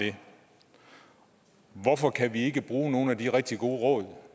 det hvorfor kan vi ikke bruge nogle af de rigtig gode råd